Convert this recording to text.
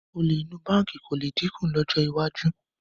Olè inú báǹkì kò lè dínkù lọ́jọ́ iwájú